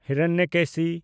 Hiranyakeshi